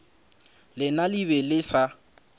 lena le be le sa